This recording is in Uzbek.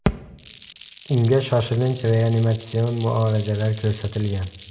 Unga shoshilinch reanimatsion muolajalar ko‘rsatilgan.